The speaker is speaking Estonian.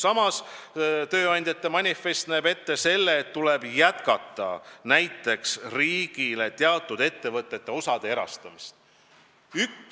Samas, tööandjate manifest näeb ette, et tuleb jätkata erastamist.